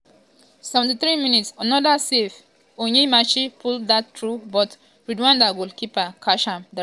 73mins-another save!!!onyemachi pull dat through but rwanda goalkeeper catch am directly for im hand.